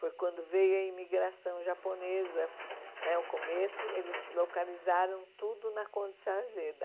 Foi quando veio a imigração japonesa, né o começo, eles localizaram tudo na Conde de Sarzeda.